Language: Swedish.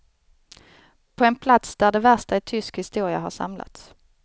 På en plats där det värsta i tysk historia har samlats.